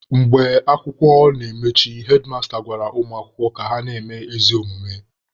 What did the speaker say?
Mgbe akwụkwọ na-emechi, hedmasta gwara ụmụ akwụkwọ ka na-eme ezi omume.